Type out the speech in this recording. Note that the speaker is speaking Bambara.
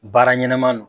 Baara ɲɛnɛman don